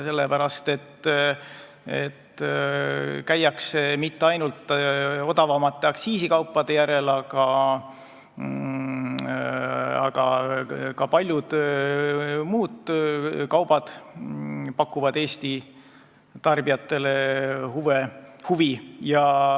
Lätis ei käida mitte ainult odavamate aktsiisikaupade järel, ka paljud muud kaubad pakuvad seal Eesti tarbijatele huvi.